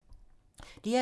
DR2